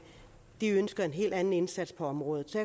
de ønsker en helt anden indsats på området så